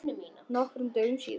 Nokkrum dögum síðar.